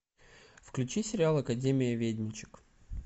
включи сериал академия ведьмочек